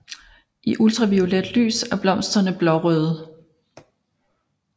I ultraviolet lys er blomsterne blårøde